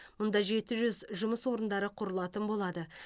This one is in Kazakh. мұнда жеті жүз жұмыс орындары құрылатын болады